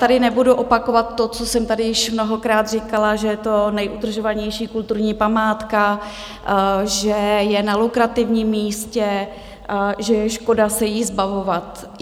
Ale nebudu opakovat to, co jsem tady již mnohokrát říkala, že je to nejudržovanější kulturní památka, že je na lukrativním místě, že je škoda se jí zbavovat.